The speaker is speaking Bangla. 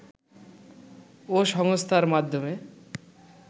ও সংস্থার মাধ্যমে